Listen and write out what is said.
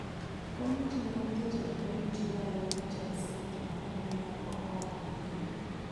Komiti ma en jatend komiti ma en jatend senet ma Nyamira, Okong'o Omogeni